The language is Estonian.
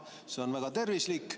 See on väga tervislik.